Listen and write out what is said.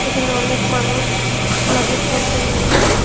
এখানে অনেক মানুষ লাগেজপত্র নিয়ে--